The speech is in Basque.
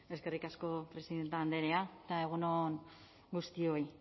eskerrik asko presidente andrea eta egun on guztioi